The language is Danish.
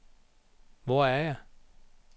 Hvor er jeg